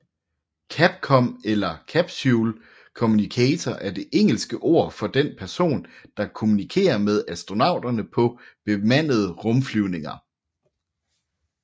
CAPCOM eller Capsule communicator er det engelske ord for den person der kommunikerer med astronauterne på bemandede rumflyvninger